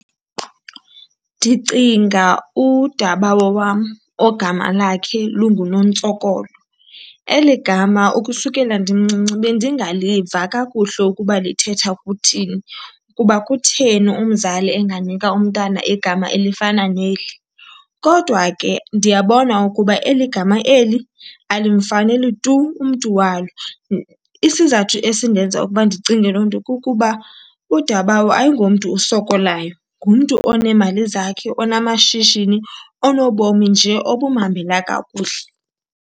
Ndicinga udabawo wam ogama lakhe lunguNontsokolo. Eli gama ukusukela ndimncinci bendingaliva kakuhle ukuba lithetha ukuthini, kuba kutheni umzali enganika umntana igama elifana neli. Kodwa ke ndiyabona ukuba eli gama eli alimfaneli tu umntu walo. Isizathu esindenza ukuba ndicinge loo nto kukuba udabawo ayingomntu usokolayo, ngumntu oneemali zakhe, onamashishini, onobomi nje obumhambela kakuhle.